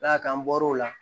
N'a kan bɔr'o la